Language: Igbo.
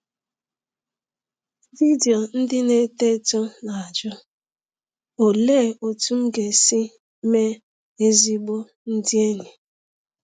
Vidiyo Ndị Na-eto Eto Na-ajụ — Olee Otú M Ga-esi Mee Ezigbo Ndị Enyi?